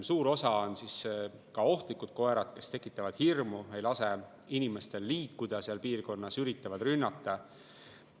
Suur osa on ka ohtlikud koerad, kes tekitavad hirmu, ei lase inimestel seal piirkonnas liikuda, üritavad rünnata.